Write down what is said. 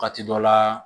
Waati dɔ la